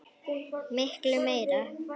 Miklu meira.